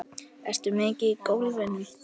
Ertu mikið í golfinu?